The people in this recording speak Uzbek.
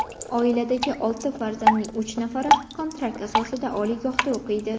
Oiladagi olti farzandning uch nafari kontrakt asosida oliygohda o‘qiydi.